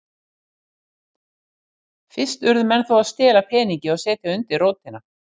Fyrst urðu menn þó að stela peningi og setja undir rótina.